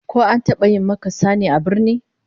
Ko an taba yi maka sane a birni?